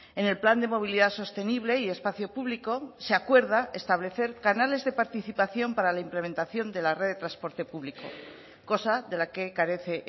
en el plan de movilidad sostenible y espacio público se acuerda establecer canales de participación para la implementación de la red de transporte público cosa de la que carece